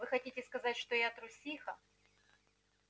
вы хотите сказать что я трусиха